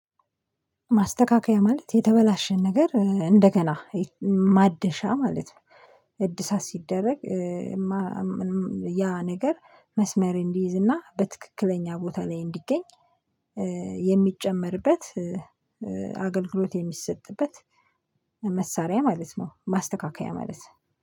ማስተካከያ ማለት የተበላሸን ነገር እንደገና ማደሻ ማለት ነው። እድሳት ሲደረግ ያ ነገር መስመር እንዲይዝ እና በትክክለኛ ቦታ ላይ እንዲገኝ የሚጨመርበት አገልግሎት የሚሰጥበት መሳሪያ ማለት ነው። ማስተካከያ ማለት